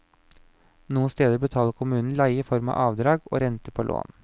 Noen steder betaler kommunen leie i form av avdrag og renter på lån.